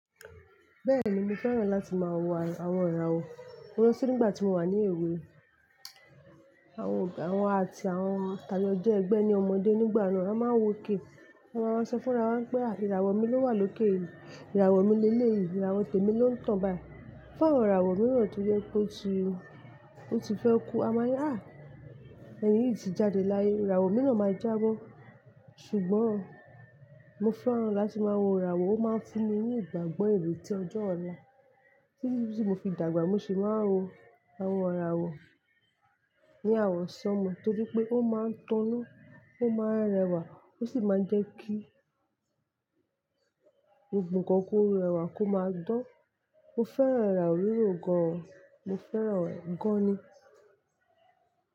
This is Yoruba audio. Bẹ́ẹ̀ni mo fẹ́ràn láti máa wo àwọn ìràwọ̀, torí ti nígbà tí mo wà ní èwe, àwọn àwa àti àwọn tàjọ́ jẹ ẹgbẹ́ ni ọmọdé nígbà náà a máa ń wòkè. Wọ́n máa ń sọ fún wa n pé a ìràwọ̀ mi ló wà lókè yìí, ìràwọ̀ mi lé lé yìí, ìràwọ̀ tèmi ló ń tàn báyìí. Fun àwọn ìràwọ̀ mìíràn tó jẹ́ pé ó ti ó ti fẹ́ kú a máà ní á, ẹ̀ni yìí ti jáde láyé, ìràwọ̀ mìíràn máa jábọ́. Ṣùgbọ́n mo fẹ́ran láti máa wo ìràwọ̀ ó máa ń fún mi ní ìgbàgbọ́ ère tí ọjọ́ ọ̀la, tí mo fi dàgbà mo sì máa ń wo àwọn ìràwọ̀ ní awọn sánmo torí pé ó máa ń tọ́nan, ó máa ń rẹwà, ó sì máa ń jẹ́ kí gbogbo nkan kó rẹwà kó máa dan. Mo fẹ́ràn ìràwọ̀ wíwo gan-an, mo fẹ́ràn rẹ̀ gan-an ni.